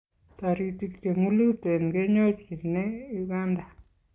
Toritik che ng'ulotei kenyorchinei Uganda